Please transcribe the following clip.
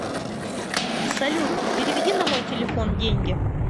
салют переведи на мой телефон деньги